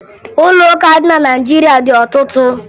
Ụlọ ụka dị na Naịjirịa dị ọtụtụ